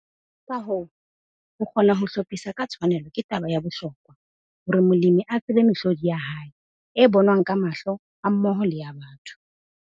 Ka hoo, ho kgona ho hlophisa ka tshwanelo ke taba ya bohlokwa hore molemi a tsebe mehlodi ya hae - e bonwang ka mahlo hammoho le ya batho.